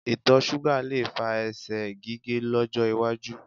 Itọ ṣuga le fa ẹsẹ̀ gige lọjọ waju